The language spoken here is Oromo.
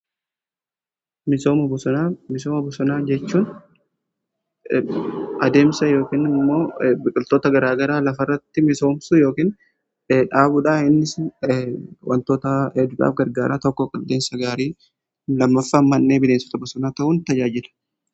misooma bosonaa jechuun adeemsa yookiin immoo biqiltoota garaa garaa lafa irratti misoomsu yookiin dhaabudha. inni immoo wantoota hedduudhaaf gargaaraa. tokko qilleensa gaarii lammaffaa man'ee bineensota bosonaa ta'uun tajaajila.